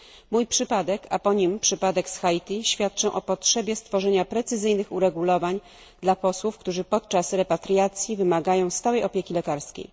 Mój przypadek, a po nim przypadek z Haiti świadczą o potrzebie stworzenia precyzyjnych uregulowań dla posłów, którzy podczas repatriacji wymagają stałej opieki lekarskiej.